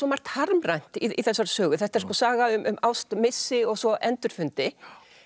margt harmrænt í þessari sögu þetta er sko saga um ást missi og svo endurfundi